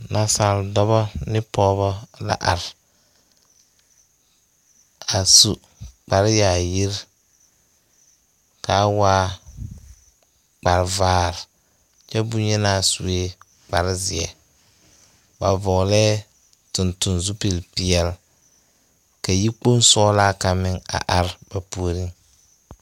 Nasaale dɔbɔ ne pɔgeba la are a su kparre yaayiri ka a waa kparre vaare kyɛ boŋyenaa sue kparre zeɛ ba vɔglɛɛ tontonne zupile peɛle ka yikpoŋ sɔglaa kaŋa meŋ are ba puoriŋ.